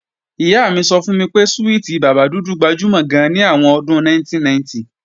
Ìyá mi sọ fún mi pé súwìtì bàbá dúdú gbajúmọ̀ gan ní àwọn ọdún 1990